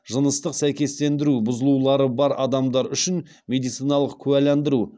жыныстық сәйкестендіру бұзылулары бар адамдар үшін медициналық куәландыру